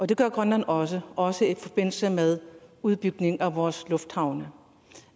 det gør grønland også også i forbindelse med udbygningen af vores lufthavne